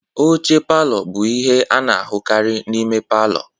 Oche palor bụ ihe a na-ahụkarị na ime ụlọ.